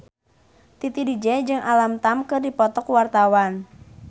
Titi DJ jeung Alam Tam keur dipoto ku wartawan